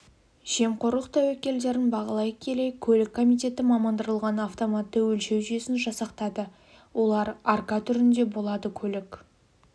жемқорлық тәуекелдерін бағалай келе көлік комитеті мамандандырылған автоматты өлшеу жүйесін жасақтады олар арка түрінде болады көлік